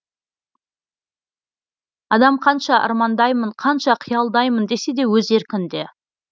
адам қанша армандаймын қанша қиялдаймын десе де өз еркінде